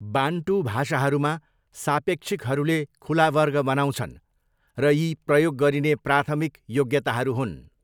Bantu भाषाहरूमा, सापेक्षिकहरूले खुला वर्ग बनाउँछन् र यी प्रयोग गरिने प्राथमिक योग्यताहरू हुन्।